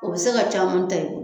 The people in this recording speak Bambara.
O bɛ se ka caman ta i bolo